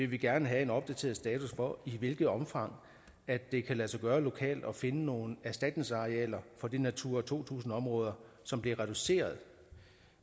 vi gerne have en opdateret status for i hvilket omfang det kan lade sig gøre lokalt at finde nogle erstatningsarealer for de natura to tusind områder som bliver reduceret